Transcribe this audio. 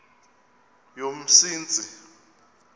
yomsintsi